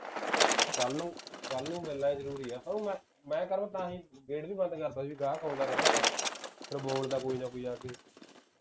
ਕੱਲ ਨੂੰ ਕੱਲ ਨੂੰ ਮਿਲਣਾ ਜਰੂਰੀ ਐ ਕਰੁ ਮੈਂ ਮੈਂ ਕਰੁ ਤਾਂ ਹੀ gate ਵੀ ਬੰਦ ਕਰਤਾ ਸੀ ਗਾਹਕ ਆਉਂਦਾ ਰਹਿੰਦਾ ਨਾ ਫੇਰ ਬੋਲਦਾ ਕੋਈ ਨਾ ਕੋਈਂ ਆਕੇ